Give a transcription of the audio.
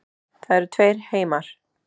Það eru tveir heimar.